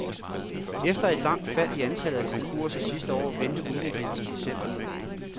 Efter et langt fald i antallet af konkurser sidste år vendte udviklingen i december.